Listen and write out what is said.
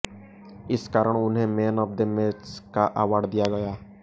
इस कारण उन्हें मैन ऑफ द मैच का अवार्ड दिया गया